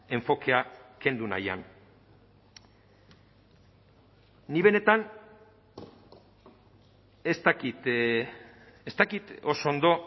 enfokea kendu nahian nik benetan ez dakit ez dakit oso ondo